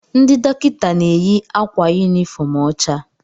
Ndị dọkịta na-eyi akwa yunifọọm ọcha.